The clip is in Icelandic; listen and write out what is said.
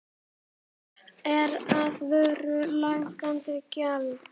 Er á vöru lækkað gjald.